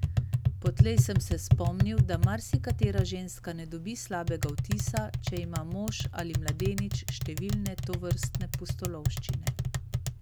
Potlej sem se spomnil, da marsikatera ženska ne dobi slabega vtisa, če ima mož ali mladenič številne tovrstne pustolovščine.